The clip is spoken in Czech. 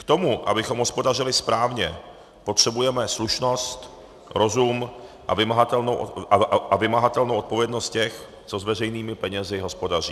K tomu, abychom hospodařili správně, potřebujeme slušnost, rozum a vymahatelnou odpovědnost těch, co s veřejnými penězi hospodaří.